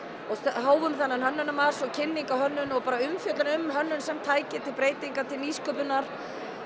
hófum þennan Hönnunarmars og kynningu á hönnun og bara umfjöllun um hönnun sem tæki til breytingar nýsköpunar